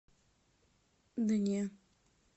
да не